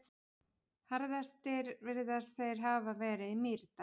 Harðastir virðast þeir hafa verið í Mýrdal.